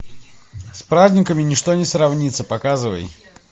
с праздниками ничто не сравнится показывай